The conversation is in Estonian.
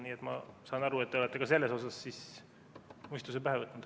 Nii et ma saan aru, et te olete ka selles asjas mõistuse pähe võtnud.